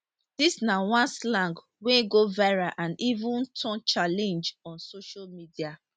dis na one slang wey go viral and even turn challenge on social media